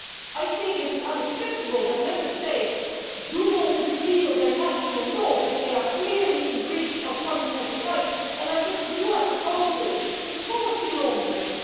I think it is unacceptable that Member States do not repeal their national laws if they are clearly in breach of fundamental rights. I think that what you are proposing is policy laundering.